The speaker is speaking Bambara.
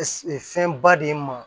Fɛn ba de ye n ma